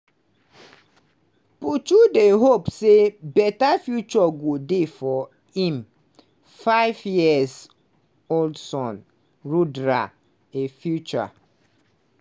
puchu dey hope say better future go dey for im five-year-old son rudra – a future